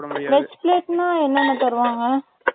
veg plate னா veg மட்டும் தான் சாப்பிட முடியும்